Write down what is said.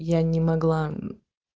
я не могла